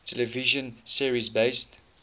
television series based